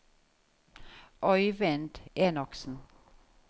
Øivind Enoksen